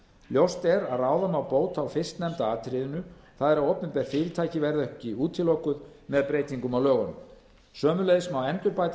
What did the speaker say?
ljóst er að ráða má bót á fyrstnefnda atriðinu það er að opinber fyrirtæki verði ekki útilokuð með breytingu á lögunum sömuleiðis má endurbæta